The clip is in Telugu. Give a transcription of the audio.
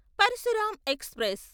పరశురామ్ ఎక్స్ప్రెస్